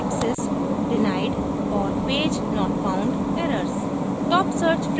top access denied और page not found errors